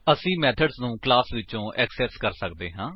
ਅਸੀ ਮੇਥਡ ਨੂੰ ਕਲਾਸ ਵਿਚੋਂ ਏਕਸੇਸ ਕਰ ਸੱਕਦੇ ਹਾਂ